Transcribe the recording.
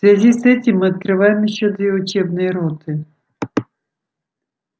в связи с этим мы открываем ещё две учебные роты